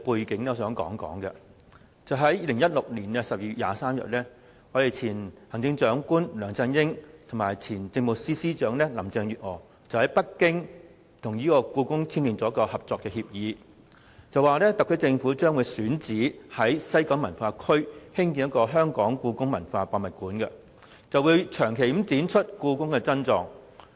在2016年12月23日，前行政長官梁振英和前政務司司長林鄭月娥在北京與故宮博物院簽訂《合作備忘錄》，特區政府選址西九文化區興建香港故宮文化博物館，長期展出故宮珍藏。